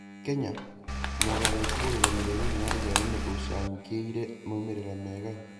Kenya: Mogarũrũku ũrũgamĩrĩri-inĩ wa igeranio nĩũcangĩire maumĩrĩra mega